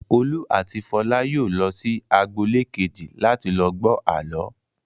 Olú àti Fọlá yóò lọ sí agboolé kejì láti lọ gbọ́ àlọ́.